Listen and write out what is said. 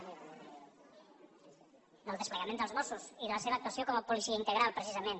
del desplegament dels mossos i de la seva actuació com a policia integral precisament